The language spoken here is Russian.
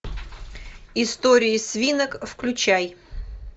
истории свинок включай